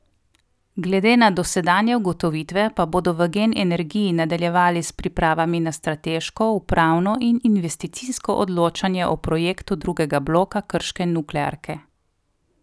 Glede na dosedanje ugotovitve pa bodo v Gen energiji nadaljevali s pripravami za strateško, upravno in investicijsko odločanje o projektu drugega bloka krške nuklearke.